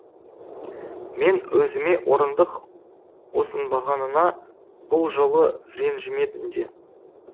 мен өзіме орындық ұсынбағанына бұл жолы ренжімедім де